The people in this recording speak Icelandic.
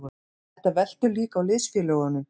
Þetta veltur líka á liðsfélögunum.